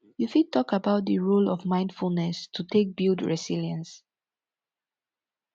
you fit talk about di role of mindfulness to take building resilience